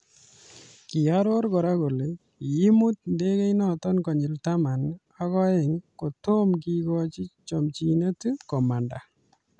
Kioror kora kole kiimut ndekeinoto konyil taman ak oeng kotomo kekochi chomchinet komanda.